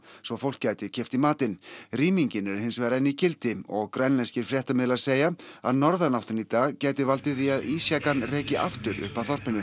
svo fólk gæti keypt í matinn rýmingin er hins vegar enn í gildi og grænlenskir fréttamiðlar segja að norðanáttin í dag gæti valdið því að reki aftur upp að þorpinu